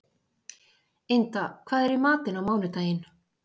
Inda, hvað er í matinn á mánudaginn?